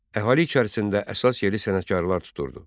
Əhali içərisində əsas yeri sənətkarlar tuturdu.